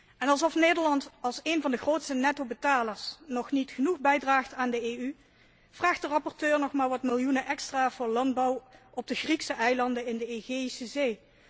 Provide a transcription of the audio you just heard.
En alsof Nederland, één van de grootste netto betalers, nog niet genoeg bijdraagt aan de EU, vraagt de rapporteur nog maar wat miljoenen extra voor landbouw op de Griekse eilanden in de Egeïsche Zee.